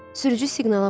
Sürücü siqnala basır.